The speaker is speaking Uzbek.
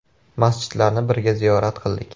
Masjidlarni birga ziyorat qildik.